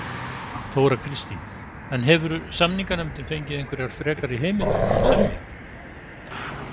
Þóra Kristín: En hefur samninganefndin fengið einhverjar frekar heimildir til að semja?